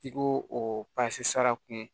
I ko o sara kun